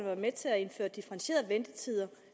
være med til at indføre differentierede ventetider